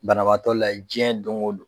Banabagatɔ layɛ jiɲɛ don o don.